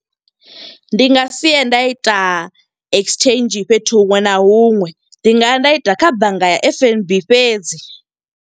Ndi nga siye nda ita exchange fhethu huṅwe na huṅwe. Ndi nga ya nda ita kha bannga ya F_N_B fhedzi.